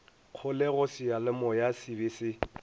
kgolego seyalemoya se be se